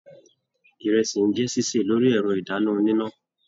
Ìrẹsì n jẹ ṣiṣe lórí ẹrọ idanna oníná.